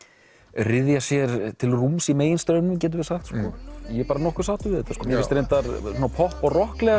ryðja sér til rúms í meginstraumnum getum við sagt ég er bara nokkuð sáttur við þetta en mér finnst reyndar popp og